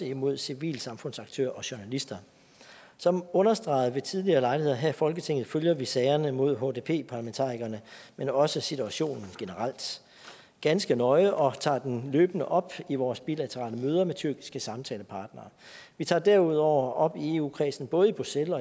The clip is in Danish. imod civilsamfundsaktører og journalister som understreget ved tidligere lejligheder her i folketinget følger vi sagerne mod hdp parlamentarikerne men også situationen generelt ganske nøje og tager dem løbende op i vores bilaterale møder med tyrkiske samtalepartnere vi tager derudover op i eu kredsen både i bruxelles